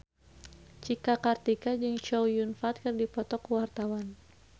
Cika Kartika jeung Chow Yun Fat keur dipoto ku wartawan